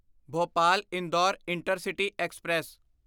Bhopal Indore intercity express